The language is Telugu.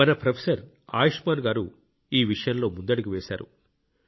మన ప్రొఫెసర్ ఆయుష్మాన్ గారు ఈ విషయంలో ముందడుగు వేశారు